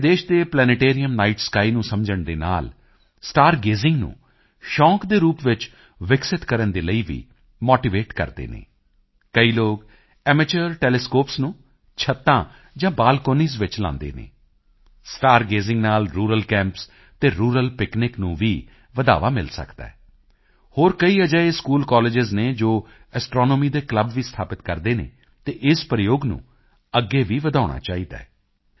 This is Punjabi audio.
ਸਾਡੇ ਦੇਸ਼ ਦੇ ਪਲੈਨੇਟੇਰੀਅਮ ਨਾਈਟ ਸਕਾਈ ਨੂੰ ਸਮਝਣ ਦੇ ਨਾਲ ਸਟਾਰ ਗੇਜ਼ਿੰਗ ਨੂੰ ਸ਼ੌਂਕ ਦੇ ਰੂਪ ਵਿੱਚ ਵਿਕਸਿਤ ਕਰਨ ਦੇ ਲਈ ਵੀ ਮੋਟੀਵੇਟ ਕਰਦੇ ਹਨ ਕਈ ਲੋਕ ਐਮੇਚਿਓਰ ਟੈਲੀਸਕੋਪਸ ਨੂੰ ਛੱਤਾਂ ਜਾਂ ਬਾਲਕੋਨੀਜ਼ ਵਿੱਚ ਲਗਾਉਂਦੇ ਹਨ ਸਟਾਰ ਗੇਜ਼ਿੰਗ ਨਾਲ ਰੂਰਲ ਕੈਂਪਸ ਅਤੇ ਰੂਰਲ ਪਿਕਨਿਕ ਨੂੰ ਵੀ ਵਧਾਵਾ ਮਿਲ ਸਕਦੇ ਹੈ ਹੋਰ ਕਈ ਅਜਿਹੇ ਸਕੂਲਕਾਲੇਜਾਂ ਹਨ ਜੋ ਐਸਟ੍ਰੋਨੋਮੀ ਦੇ ਕਲੱਬ ਵੀ ਸਥਾਪਿਤ ਕਰਦੇ ਹਨ ਅਤੇ ਇਸ ਪ੍ਰਯੋਗ ਨੂੰ ਅੱਗੇ ਵੀ ਵਧਾਉਣਾ ਚਾਹੀਦਾ ਹੈ